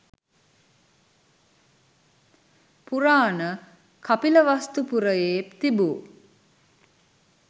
පුරාණ කපිලවස්තු පුරයේ තිබූ